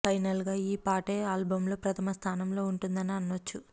final గా ఈ పాటే ఆల్బమ్ లో ప్రథమ స్థానంలో ఉంటుందని అనొచ్చు